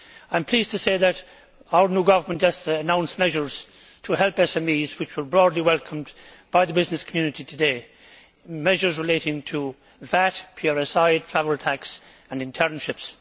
I am pleased to say that our new government yesterday announced measures to help SMEs which were broadly welcomed by the business community today measures relating to VAT, PRSI, travel tax and internships.